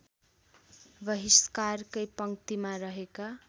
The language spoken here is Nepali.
बहिष्कारकै पङ्क्तिमा रहेका